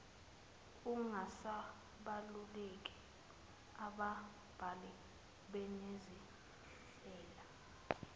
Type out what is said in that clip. kungasabalulekile ababhali banezindlela